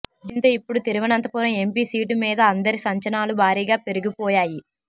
దీంతో ఇప్పుడు Thiruvananthapuram MP seat మీద అందరి అంచనాలు భారీగా పెరిగిపోయాయి